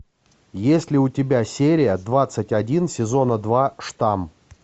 есть ли у тебя серия двадцать один сезона два штамм